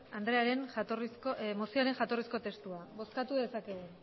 andrearen mozioaren jatorrizko testua bozkatu dezakegu